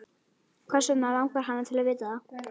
Hvers vegna langar hana til að vita það?